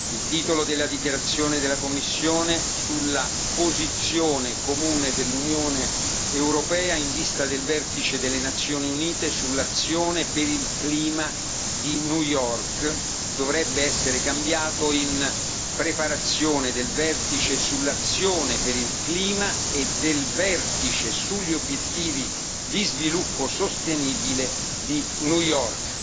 Il titolo della dichiarazione della Commissione sulla posizione comune dell'Unione europea in vista del vertice delle Nazioni Unite sull'azione per il clima di New York dovrebbe essere cambiato in Preparazione del vertice sull'azione per il clima e del vertice sugli obiettivi di sviluppo sostenibile di New York.